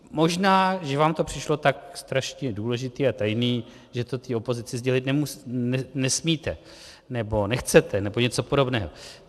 Možná že vám to přišlo tak strašně důležité a tajné, že to té opozici sdělit nesmíte, nebo nechcete, nebo něco podobného.